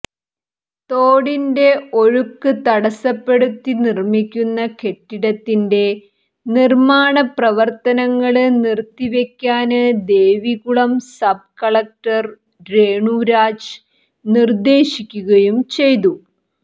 തോടിന്റെ ഒഴുക്ക് തടസ്സപ്പെടുത്തി നിര്മ്മിക്കുന്ന കെട്ടിടത്തിന്റെ നിര്മ്മാണപ്രവര്ത്തനങ്ങള് നിര്ത്തിവെയ്ക്കാന് ദേവികുളം സബ് കളക്ടര് രേണുരാജ് നിര്ദ്ദേശിക്കുകയും ചെയ്തു